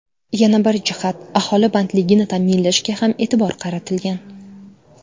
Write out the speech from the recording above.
Yana bir jihat, aholi bandligini ta’minlashga ham e’tibor qaratilgan.